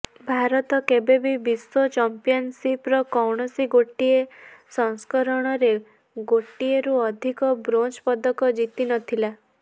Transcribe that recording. ଭାରତ କେବେବି ବିଶ୍ୱ ଚାମ୍ପିୟନଶିପର କୌଣସି ଗୋଟିଏ ସଂସ୍କରଣରେ ଗୋଟିଏରୁ ଅଧିକ ବ୍ରୋଞ୍ଜ ପଦକ ଜିତିନଥିଲା